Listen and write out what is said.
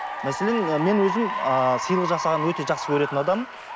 мәселен і мен өзім ааа сыйлық жасағанды өте жақсы көретін адаммын